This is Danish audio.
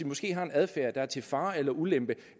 måske har en adfærd der er til fare eller ulempe